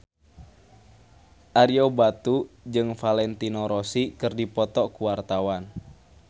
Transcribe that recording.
Ario Batu jeung Valentino Rossi keur dipoto ku wartawan